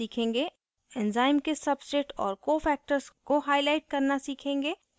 enzyme के substrate और कोcofactors को highlight करना सीखेंगे